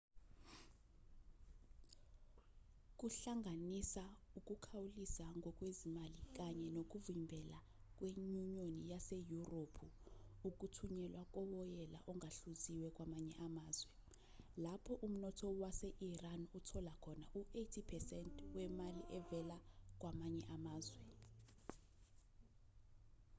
kuhlanganisa ukukhawulisa ngokwezimali kanye nokuvimbela kwenyunyoni yaseyurophu ukuthunyelwa kowoyela ongahluziwe kwamanye amazwe lapho umnotho wase-iran uthola khona u-80% wemali evela kwamanye amazwe